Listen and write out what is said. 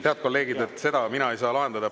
Head kolleegid, seda mina ei saa lahendada.